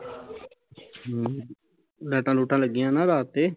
ਹਮ ਲੈਟਾਂ ਲੁਟਾ ਲੱਗੀਆ ਨਾ ਰਾਤ ਤੇ